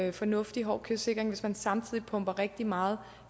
en fornuftig hård kystsikring hvis man samtidig pumper rigtig meget